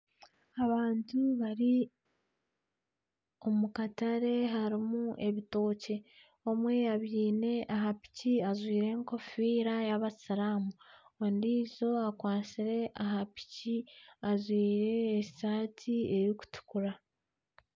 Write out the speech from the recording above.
Abantu bari omu katare harimu ebitookye omwe abyine aha piki ajwaire egofiira y'abasiiramu ondiijo akwatsire aha piki ajwaire esaati ey'okutukura.